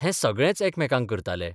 हें सगळेच एकामेकांक करतालो.